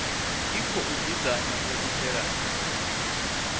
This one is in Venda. i khou dzudzanywa u itela